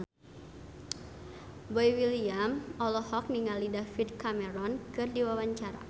Boy William olohok ningali David Cameron keur diwawancara